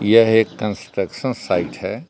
यह एक construction site है।